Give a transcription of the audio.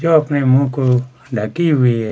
जो अपने मुंह को ढ़की हुई है।